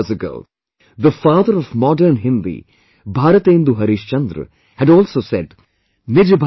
Hundred and fifty years ago, the father of modern Hindi Bharatendu Harishchandra had also said